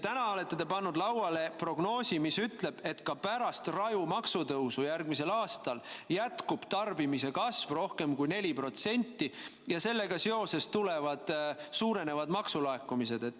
Täna olete te pannud lauale prognoosi, mis ütleb, et ka pärast raju maksutõusu järgmisel aastal jätkub tarbimise kasv rohkem kui 4% ja sellega seoses suurenevad maksulaekumised.